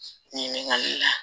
Ni min ka